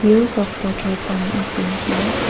The use of petrol pump is seen here.